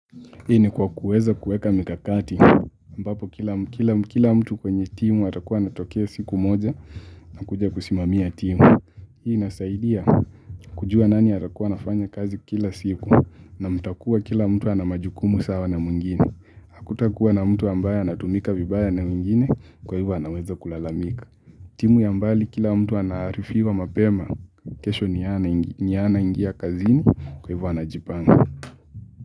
Hii ni kwa kuweza kueka mikakati ambapo kila mtu kwenye timu atakuwa anatokea siku moja na kuja kusimamia timu. Hii inasaidia kujua nani atakuwa anafanya kazi kila siku na mtakuwa kila mtu ana majukumu sawa na mwingine. Hakutakuwa na mtu ambaye anatumika vibaya na wengine kwa hivyo anaweza kulalamika. Timu ya mbali kila mtu anaaarifiwa mapema kesho ni yeye anaingia kazini kwa hivyo anajipanga.